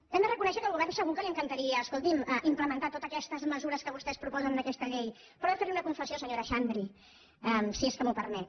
hem de reconèixer que al govern segur que li encan·taria escolti’m implementar totes aquestes mesures que vostès proposen en aquesta llei però he de fer·li una confessió senyora xandri si és que m’ho permet